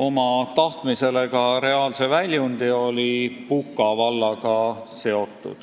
oma tahtmisele ka reaalse väljundi, on Puka vald.